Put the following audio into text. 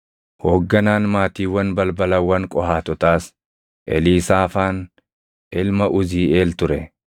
Hoogganaan maatiiwwan balbalawwan Qohaatotaas Eliisaafaan ilma Uziiʼeel ture.